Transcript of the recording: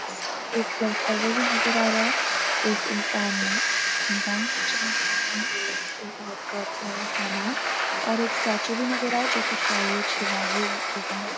इसमें एक clock tower भी नजर आ रहा है एक इंसान बाईक चलाता हुआ और उसके साथ बहुत सारा सामान और एक स्‍टेच्‍यू स्टेचू भी नजर आ रहा है जो कि शायद शिवाजी जी का है।